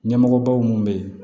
Ɲɛmɔgɔbaw minnu bɛ yen